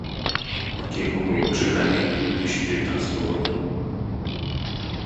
окей гугл лучшие комедии две тысячи девятнадцатого года